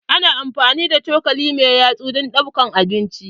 Ana amfani da cokali mai yatsuvdon ɗaukar abinci.